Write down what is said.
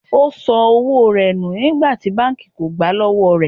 O san owó rẹ̀ nù nígbà tí banki kógbá wọlé.